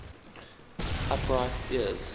upright ears